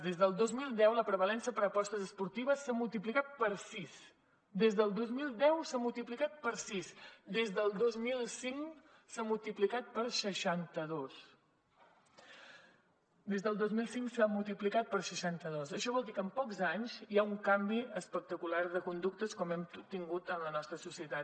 des del dos mil deu la prevalença per apostes esportives s’ha multiplicat per sis des del dos mil deu s’ha multiplicat per sis des del dos mil cinc s’ha multiplicat per seixanta dos des del dos mil cinc s’ha multiplicat per seixanta dos això vol dir que en pocs anys hi ha un canvi espectacular de conductes com hem tingut en la nostra societat